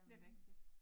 Det rigtigt